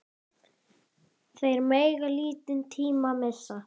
Þeir mega lítinn tíma missa.